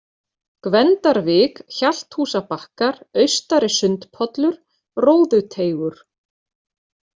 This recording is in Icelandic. Gvendarvik, Hjalthúsabakkar, Austari-Sundpollur, Róðuteigur